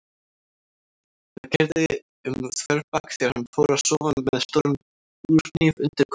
Það keyrði um þverbak þegar hann fór að sofa með stóran búrhníf undir koddanum.